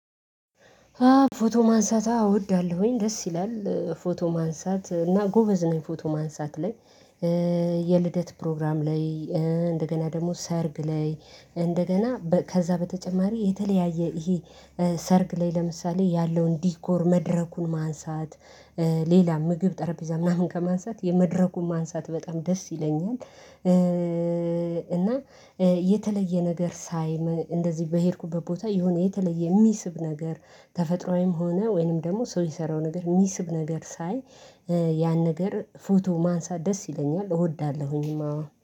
ፎቶ ማንሳት አዎ አወዳለሁኝ፤ ደስ ይላል ፎቶ ማንሳት እና ጎበዝ ነኝ ፎቶ ማንሳት ላይ፤ የልደት ፕሮግራም ላይ፣ እንደገና ደግሞ ሰርግ ላይ፣ እንደገና ከዛ በተጨማሪ የተለያየ ይሄ ሰርክ ላይ፣ ለምሳሌ ያለውን ዲኮር መድረኩን ማንሳት ሌላ ምግብ ጠረጴዛ ምናምን ከማንሳት የመድረኩን ማንሳት በጣም ደስ ይለኛል። እና የተለየ ነገር ሳይ እንደዚህ በሄድኩበት ቦታ የሆነ የተለየ የሚስብ ነገር ተፈጥሮአዊም ሆነ ወይንም ደግሞ ሰው የሰራው ነገር የሚስብ ነገር ሳይ ያን ነገር ፎቶ ማንሳት ደስ ይለኛል። እወዳለሁኝማ